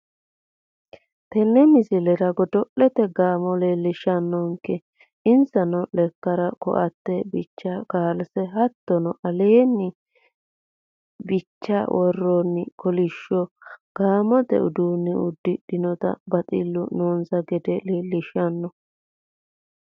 Tenne misilerra goodolete gaamo lelishannonke ensanno lekkare koatee biicha kalsee hattono aalenni biichaa woronni kolishshoo gaamote uudune udrinotanna baxillu noonsa geede lelishanno.